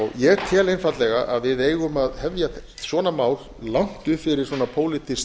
ég tel einfaldlega að við eigum að hefja svona mál langt upp fyrir svona pólitískt